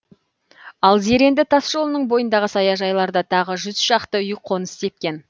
ал зеренді тасжолының бойындағы саяжайларда тағы жүз шақты үй қоныс тепкен